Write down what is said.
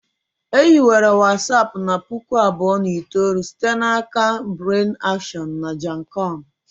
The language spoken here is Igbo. E hiwere Watsapụ na 2009 site n'aka Brian Acton na Jan koum